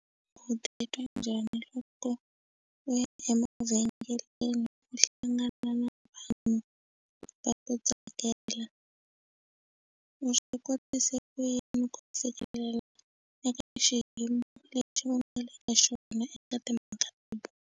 U titwa njhani loko u ya emavhengeleni ku hlangana na vanhu va ta tsakela u swi kotise ku yini ku sivelela eka xiyimo lexi va nga le ka xona eka timhaka ta bolo.